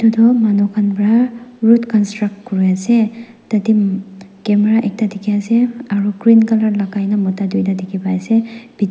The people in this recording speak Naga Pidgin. etu manu khan para road construct kuri asa tatey camera ekta dekhi ase aru green colour lagai na mota duita dekhi pai ase bithor--